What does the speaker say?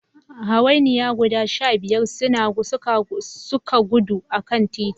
Hawainiya guda shabiyar suka gudu a kan titi